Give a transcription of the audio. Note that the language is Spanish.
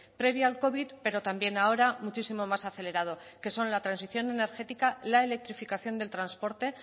previo al covid pero también ahora muchísimo más acelerado que son la transición energética la electrificación del transporte